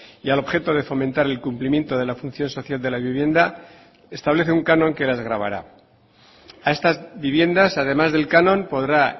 y al objeto de fomentar el cumplimiento de la función social de la vivienda establece un canon que las gravará a estas viviendas además del canon podrá